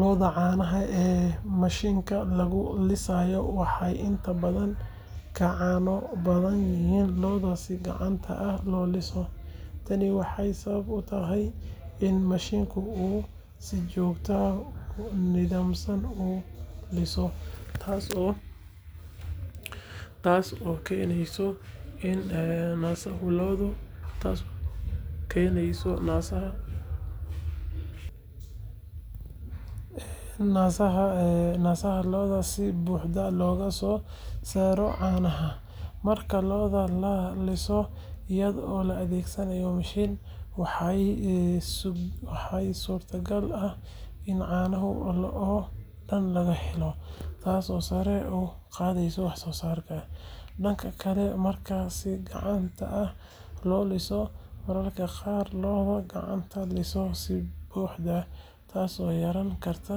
Lo’da caanaha ee mashiinka lagu lisay waxay inta badan ka caano badan yihiin lo’da si gacanta ah loo liso. Tani waxay sabab u tahay in mashiinka uu si joogto ah oo nidaamsan u liso, taasoo keenaysa in naaska lo’da si buuxda looga soo saaro caanaha. Marka lo’da la liso iyadoo la adeegsanayo mashiin, waxaa suurtagal ah in caanaha oo dhan laga helo, taasoo sare u qaadaysa wax soo saarka. Dhanka kale, marka si gacanta ah loo liso, mararka qaar lo’da lagama liso si buuxda, taasoo yarayn karta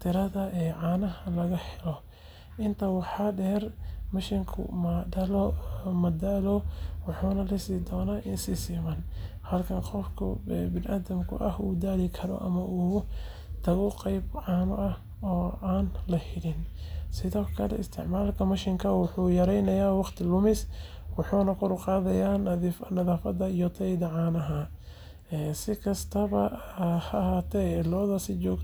tirada caanaha laga helo. Intaa waxaa dheer, mashiinku ma daalo, wuxuuna lisaa lo’da si siman, halka qofka bini’aadamka ah uu daali karo ama uu ka tago qaybo caano ah oo aan la helin. Sidoo kale, isticmaalka mashiinka wuxuu yareeyaa waqti lumiska, wuxuuna kordhiyaa nadiifnimada iyo tayada caanaha. Si kastaba ha ahaatee, lo’da si joogto ah loo daryeelo, cuntadooda loo hagaajiyo, iyo nadaafadda la ilaaliyo, waxay qayb weyn ka tahay in caano badan laga helo, ha noqoto mashiin ama gacanba.